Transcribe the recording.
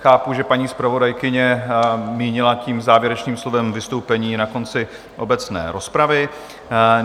Chápu, že paní zpravodajka mínila tím závěrečným slovem vystoupení na konci obecné rozpravy.